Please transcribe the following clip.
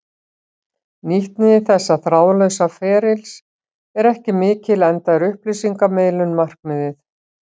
Nýtni þessa þráðlausa ferlis er ekki mikil enda er upplýsingamiðlun markmiðið.